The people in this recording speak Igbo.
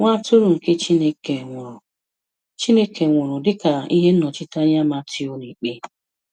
Nwa Atụrụ nke Chineke nwụrụ Chineke nwụrụ dịka ihe nnọchiteanya Matiu n'Ikpe.